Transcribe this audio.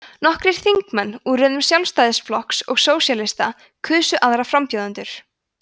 nokkrir þingmenn úr röðum sjálfstæðisflokks og sósíalista kusu aðra frambjóðendur